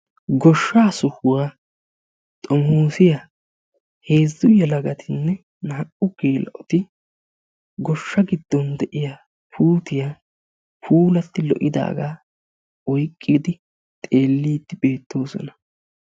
Goshshaa sohuwaa xomoosiya heezzu yelagatinne naa"u geela"oti goshsha giddon de"iya puutiya puulatti lo"idaagaa oyqqidi xeelliiddi beettoosona.